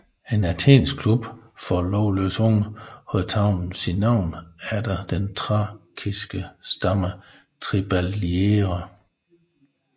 En athensk klub for lovløse unge havde taget sit navn efter den thrakiske stamme triballiere